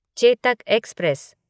Chetak express